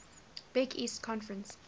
big east conference